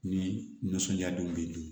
Ni nisɔndiya don be dun